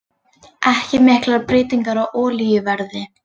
Ekki miklar breytingar á olíuverði